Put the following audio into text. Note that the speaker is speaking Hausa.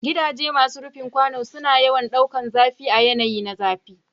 Gidaje masu rufin kwano suna yawan ɗaukan zafi a yanayi na zafi.